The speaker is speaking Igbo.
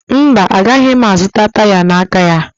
Mba, agaghị m azụta taya n'aka ya